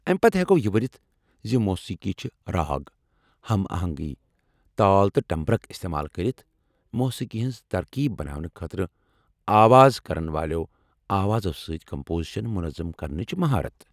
امہ پتہٕ ہیکو یہ ؤنتھ ز موسیقی چھ راگ ، ہم آہنگی ، تال تہٕ ٹمبرک استعمال کرتھ موسیقی ہنٛز ترکیب بناونہٕ خاطرٕ آواز کرن والٮ۪و آوازو سۭتۍ کمپوزشن منظم کرنچ مہارت ۔